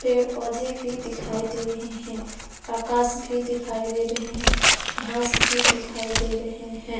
पेड़ पौधे भी दिखाई दे रहे हैं आकाश भी दिखाई दे रहे हैं घास भी दिखाई दे रहे हैं।